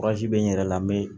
bɛ n yɛrɛ la n bɛ